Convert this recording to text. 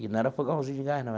E não era fogãozinho de gás, não.